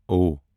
او